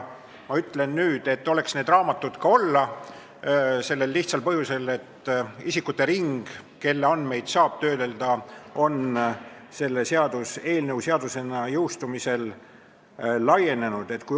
Ma ütlen nüüd, et oleks need raamatud ka olla, sellel lihtsal põhjusel, et isikute ring, kelle andmeid saab töödelda, selle seaduseelnõu seadusena jõustumisel laieneb.